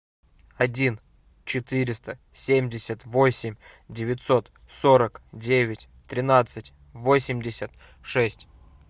один четыреста семьдесят восемь девятьсот сорок девять тринадцать восемьдесят шесть